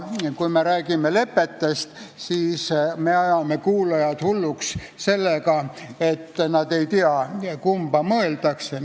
Kui me räägime lepetest, siis me ajame kuulajad hulluks sellega, et nad ei tea, kumba mõeldakse.